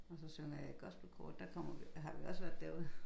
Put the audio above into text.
Og så synger jeg i et gospelkor der har vi også været derude